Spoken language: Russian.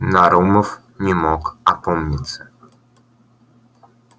нарумов не мог опомниться